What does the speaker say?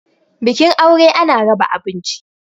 bikin aure ana raba abinci